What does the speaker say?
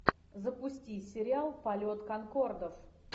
запусти сериал полет конкордов